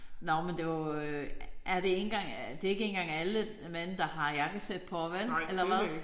Nåh men det var øh er det ikke engang det er ikke engang alle mænd der har jakkesæt på vel. Eller hvad?